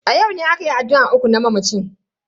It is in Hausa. A yau ne akayi addu'an uku na mamacin.